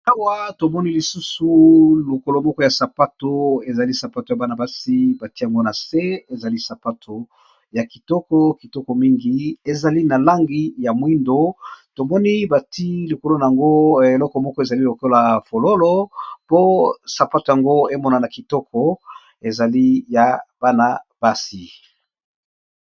Awa tomoni lisusu lokolo moko ya sapato ezali sapato ya bana basi bati yango na se ezali sapato ya kitoko, kitoko mingi ezali na langi ya mwindo tomoni bati lokolo na yango eloko moko ezali lokola fololo po sapato yango emona na kitoko ezali ya bana basi.